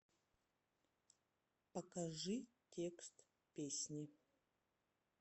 покажи текст песни